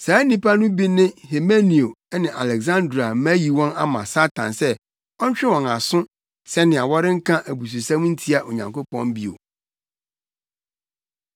Saa nnipa no bi ne Himeneo ne Aleksandro a mayi wɔn ama Satan sɛ ɔntwe wɔn aso sɛnea wɔrenka abususɛm ntia Onyankopɔn bio.